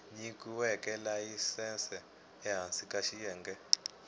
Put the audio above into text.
nyikiweke layisense ehansi ka xiyenge